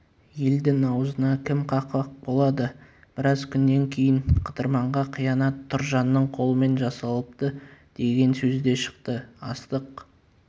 елдің аузына кім қақпақ болады біраз күннен кейін қыдырманға қиянат тұржанның қолымен жасалыпты деген сөз де шықты астық